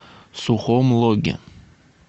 сухом логе